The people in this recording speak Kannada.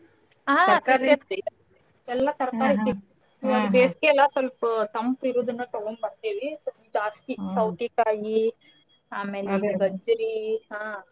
ಹಾ ಎಲ್ಲಾ ತರ್ಕಾರೀ ಸಿಗ್ತೇತಿ ಇವಾಗ್ ಬೇಸ್ಗೆ ಅಲ್ಲಾ ಸ್ವಲ್ಪ ತಂಪ್ ಇರುದನ್ನ ತಗೋಂಬರ್ತೀವಿ ಸ್ವಲ್ಪ ಜಾಸ್ತಿ ಸೌತೀಕಾಯಿ ಆಮ್ಯಾಲೆ ಗಜ್ಜ್ರೀ ಹಾ.